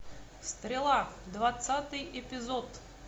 стрела двадцатый эпизод